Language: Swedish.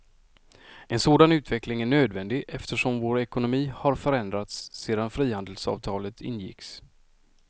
En sådan utveckling är nödvändig eftersom vår ekonomi har förändrats sedan frihandelsavtalet ingicks.